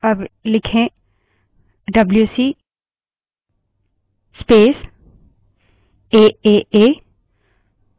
जैसे हम जानते हैं कि aaa name की कोई file मौजूद नहीं है aaa लिखें